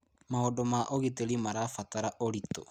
Maũndũ ma ũgitĩri marabatara ũritũ.